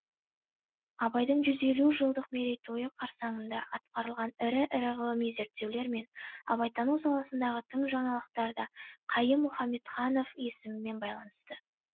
абайдың жүз елу жылдық мерейтойы қарсаңында атқарылған ірі ірі ғылыми зерттеулер мен абайтану саласындағы тың жаңалықтар да қайым мұхамедханов есімімен байланысты